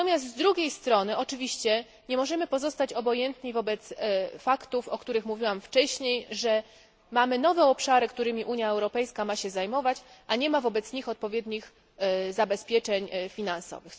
Z drugiej strony natomiast nie możemy oczywiście pozostać obojętni wobec faktów, o których mówiłam wcześniej, że mamy nowe obszary, którymi Unia Europejska ma się zajmować, a nie ma wobec nich odpowiednich zabezpieczeń finansowych.